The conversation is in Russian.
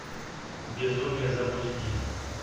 безумие запусти